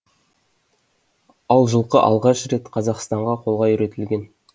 ал жылқы алғаш рет қазақстанда қолға үйретілген